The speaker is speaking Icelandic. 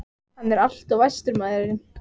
Hann er alltof æstur, maðurinn.